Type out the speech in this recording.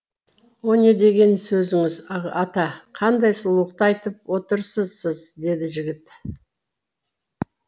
о не деген сөзіңіз ата қандай сұлулықты айтып отырсыз сіз деді жігіт